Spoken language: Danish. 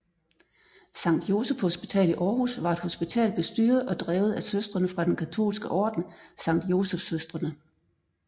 Sankt Joseph Hospital i Aarhus var et hospital bestyret og drevet af Søstrene fra den katolske orden Sankt Joseph Søstrene